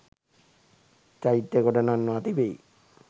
චෛත්‍ය ගොඩ නංවා තිබෙයි